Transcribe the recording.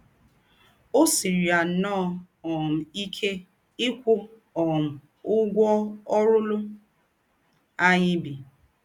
Ó sìírí yà nnọọ um íké íkwụ́ um ǔgwọ́ ǒrụ̀lụ̀ ànyị̀ bí.